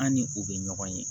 An ni u bɛ ɲɔgɔn ye